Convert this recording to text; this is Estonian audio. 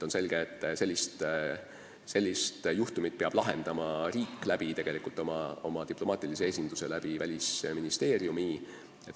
On selge, et sellist juhtumit peab lahendama riik oma diplomaatilise esinduse, Välisministeeriumi kaudu.